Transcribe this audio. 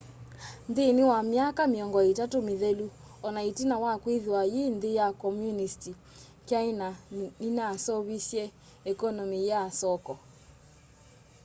nthînî wa myaka mîongo îtatû mîthelu ona itina wa kwîthwa yî nthî ya komunisti kyaina ninaseuvisye ekonomi ya soko